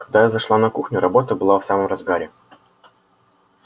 когда я зашла на кухню работа была в самом разгаре